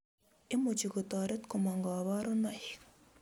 Imuchi kotoret komong' kabarunoik